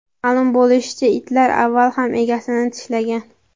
Ma’lum bo‘lishicha, itlar avval ham egasini tishlagan.